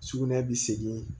Sugunɛ bi segin